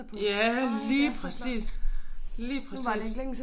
Ja lige præcis lige præcis